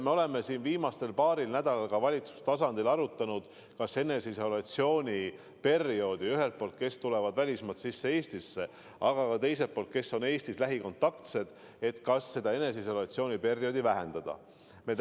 Me oleme viimasel paaril nädalal valitsuse tasandil arutanud, kas võiks eneseisolatsiooni perioodi lühendada – ühelt poolt neile, kes tulevad välismaalt Eestisse, aga teiselt poolt ka neile, kes on Eestis nende lähikontaktseid.